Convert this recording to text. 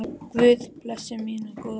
Guð blessi minn góða frænda.